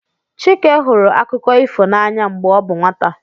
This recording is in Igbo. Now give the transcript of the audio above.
Chike hụrụ akụkọ ifo n'anya mgbe ọ bụ nwata